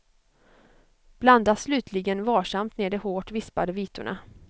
Blanda slutligen varsamt ner de hårt vispade vitorna.